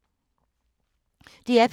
DR P2